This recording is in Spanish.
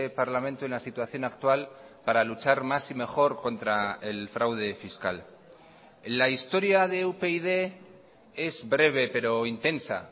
parlamento en la situación actual para luchar más y mejor contra el fraude fiscal la historia de upyd es breve pero intensa